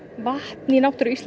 vatn í náttúru Íslands